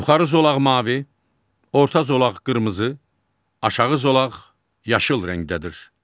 Yuxarı zolaq mavi, orta zolaq qırmızı, aşağı zolaq yaşıl rəngdədir.